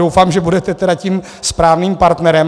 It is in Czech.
Doufám, že budete tedy tím správným partnerem.